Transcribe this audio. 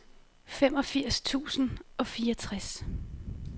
femogfirs tusind og fireogtres